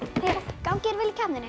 gangi þér vel í keppninni